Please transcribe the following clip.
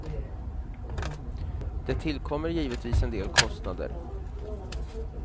Det tillkommer givetvis en del kostnader.